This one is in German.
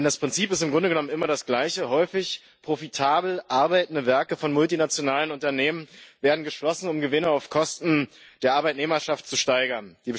Das Prinzip ist im Grunde genommen immer das gleiche Häufig werden profitabel arbeitende Werke von multinationalen Unternehmen geschlossen, um Gewinne auf Kosten der Arbeitnehmerschaft zu steigern.